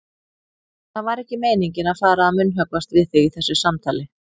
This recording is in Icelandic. Það var ekki meiningin að fara að munnhöggvast við þig í þessu samtali.